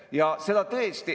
Vastasel korral ei ole mõtet.